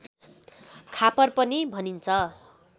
खापर पनि भनिन्छ